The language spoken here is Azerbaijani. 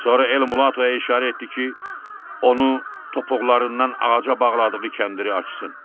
Sonra El Mulatoya işarə etdi ki, onu topuqlarından ağaca bağladığı kəndiri açsın.